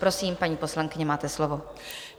Prosím, paní poslankyně, máte slovo.